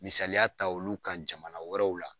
Misaliya ta olu kan jamana wɛrɛw la.